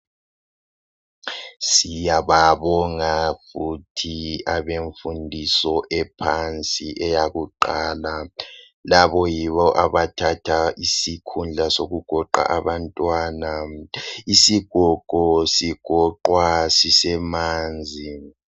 Siyababonga futhi abemfundiso yemfundo ephansi eyakuqala labo yibo abathatha isikhundla sokugoqa abantwana. Isigogo sigoqwa sisemanzi.